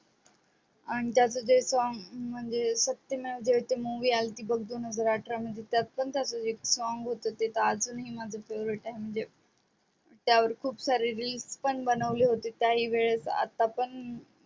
आणि त्याच जे song म्हणजे मध्ये टी मूवी आलती बघ दोन हजार अठरा मध्ये त्यात पण त्याच एक song होत ते अजून ही माझ favorite आहे म्हणजे त्यावर खूप सारे रील्स पण बनवले होते काही वेळेस आणि आत्ता पण